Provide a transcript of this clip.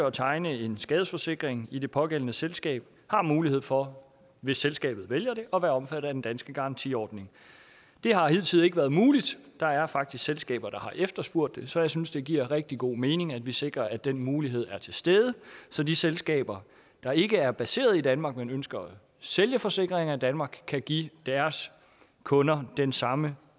at tegne en skadesforsikring i det pågældende selskab har mulighed for hvis selskabet vælger det at være omfattet af den danske garantiordning det har hidtil ikke været muligt der er faktisk selskaber der har efterspurgt det så jeg synes det giver rigtig god mening at vi sikrer at den mulighed er til stede så de selskaber der ikke er baseret i danmark men ønsker at sælge forsikringer i danmark kan give deres kunder den samme